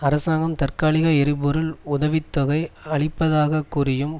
அரசாங்கம் தற்காலிக எரிபொருள் உதவி தொகை அளிப்பதாகக் கூறியும்